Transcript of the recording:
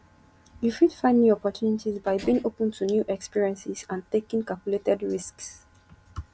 you fit find new opportunities by being open to new experiences and taking calculated risks